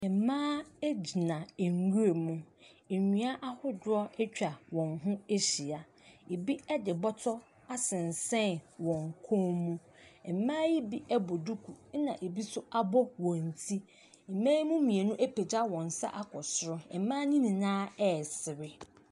Mmaa gyina nwiram. Nnua ahodoɔ atwa wɔn ho ahyia. Ɛbi de bɔtɔ asensɛn wɔn kɔn mu. Mmaa yi bi bɔ duku, ɛna ɛbi nso abɔ wɔn ti. Mmaa yi mu mmienu apagya wɔn nsa akɔ soro. Mmaa no nyinaa resere.